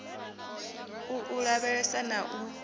u u lavhesa na u